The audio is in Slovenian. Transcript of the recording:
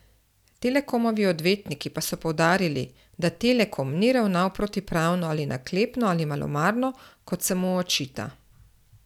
Telekomovi odvetniki pa so poudarili, da Telekom ni ravnal protipravno ali naklepno ali malomarno, kot se mu očita.